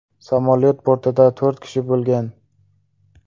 Samolyot bortida to‘rt kishi bo‘lgan.